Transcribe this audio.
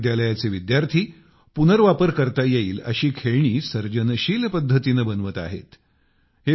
या महाविद्यालयाचे विद्यार्थी पुनर्वापर करता येईल अशी खेळणी सर्जनशील पद्धतीने बनवत आहेत